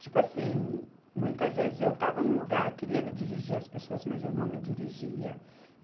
Tipo assim, muitas vezes eu estava num lugar, queria me dirigir às pessoas, mas eu não me dirigia.